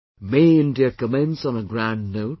May India commence on a grand note